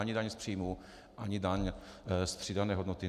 Ani daň z příjmů, ani daň z přidané hodnoty.